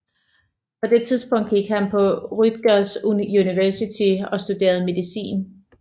På det tidspunkt gik han på Rutgers University og studerede medicin